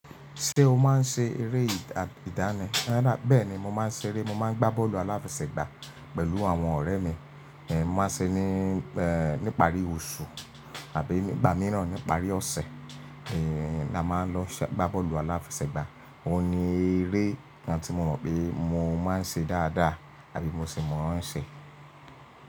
Ṣé o máa ń ṣe eré idani? Bẹ́ẹ̀ni mo máa ń ṣe eré, mo máa ń gbá bọ́ọ̀lù aláfẹsẹ̀gbá pẹ̀lú àwọn ọ̀rẹ́ mi, eh, mo máa ń ṣe ní, eh, nípari oṣù àbí nígba mìíràn nípari ọ̀sẹ̀, eh, la máa lọ gbá bọ́ọ̀lù aláfẹsẹ̀gbá. Óun ni eré kan tí mo mọ̀ pé mo máa ń ṣe dáadáa àbí mo sì mọ̀ n ṣe.